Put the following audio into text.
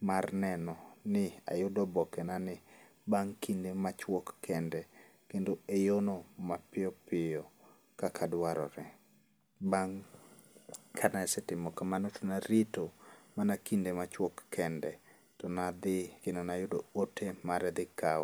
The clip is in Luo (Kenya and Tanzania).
mar neno ni ayudoboke na ni bang' kinde machwok kende kendo e yono mapiyopiyo kaka dwarore. Bang' kanasetimo kamano to narito mana kinde machwok kende, tonadhi kendo mnayudo ote mar dhi kawo.